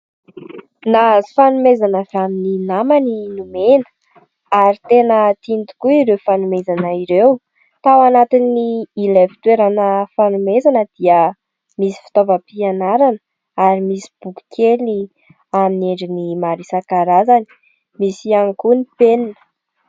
Nahazo fanomezana avy amin'ny namany i Nomena ary tena tiany tokoa ireo fanomezana ireo. Tao anantin'ilay fitoerana fanomezana dia misy fitaovam-pianarana ary misy boky kely amin'ny endriny maro isan-karazany, misy ihany koa ny penina.